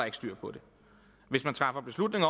ikke styr på det hvis man træffer beslutning